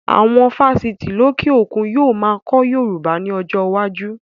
Awon Fáṣítì lókè òkun yíò máa kọ́ Yorùbá ni ọjọ́ iwájú